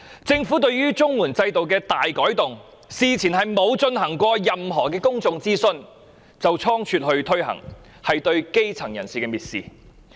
政府對於綜援制度的大改動，事前沒有進行任何公眾諮詢便倉卒推行，是藐視基層人士。